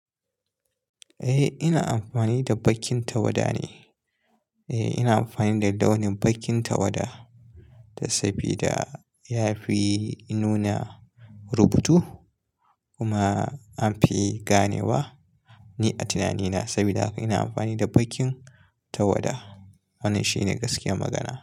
Eh, ina amfani da bakin tawada ne. Eh, ina amfani da launin bakin tawada dan sabida ya fi nuna rubutu kuma an fi ganewa. Ni a tunanina sabida haka ina amfani da bakin tawada. Wannan shine gaskiyar magana.